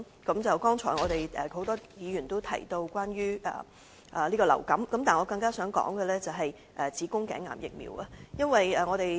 剛才很多議員提及流行性感冒，但我更想談論的是子宮頸癌疫苗接種。